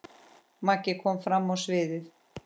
Maggi kom fram á sviðið.